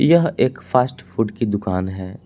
यह एक fast food की दुकान है।